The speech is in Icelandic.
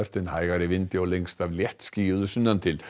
en hægari vindur og lengst af léttskýjað sunnan til